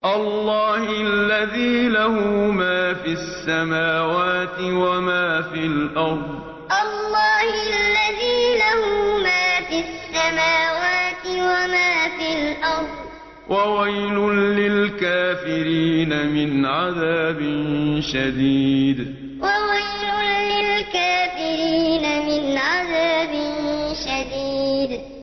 اللَّهِ الَّذِي لَهُ مَا فِي السَّمَاوَاتِ وَمَا فِي الْأَرْضِ ۗ وَوَيْلٌ لِّلْكَافِرِينَ مِنْ عَذَابٍ شَدِيدٍ اللَّهِ الَّذِي لَهُ مَا فِي السَّمَاوَاتِ وَمَا فِي الْأَرْضِ ۗ وَوَيْلٌ لِّلْكَافِرِينَ مِنْ عَذَابٍ شَدِيدٍ